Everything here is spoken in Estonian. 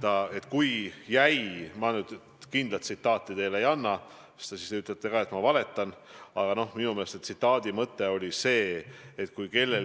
selgelt, et kui kellelgi jäi mulje, et ta kuidagi toetab perevägivalda või arvab, et teatud perevägivald võib olla, siis ta seda mitte mingil juhul ei tee.